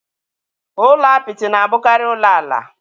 Ụlọ apịtị na-abụkarị ụlọ ala.